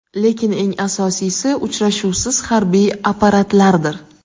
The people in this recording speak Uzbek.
Lekin eng asosiysi – uchuvchisiz harbiy apparatlardir.